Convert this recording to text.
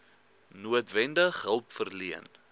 noodwendig hulp verleen